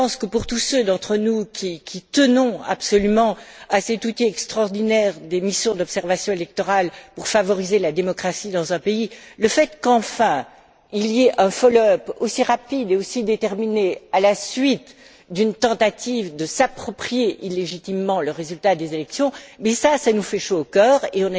Pour tous ceux d'entre nous qui tenons absolument à cet outil extraordinaire que sont les missions d'observation électorale pour favoriser la démocratie dans un pays, le fait, qu'enfin, il y ait un follow up aussi rapide et aussi déterminé à la suite d'une tentative de s'approprier illégitimement le résultat des élections, nous fait chaud au cœur et